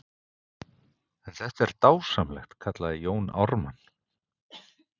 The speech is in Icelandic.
En þetta er dásamlegt, kallaði Jón Ármann.